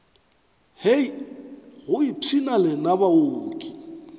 hei go ipshina lena baoki